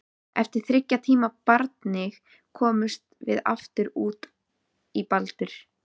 Eftir þriggja tíma barning komumst við aftur út í Baldur.